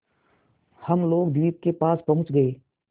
हम लोग द्वीप के पास पहुँच गए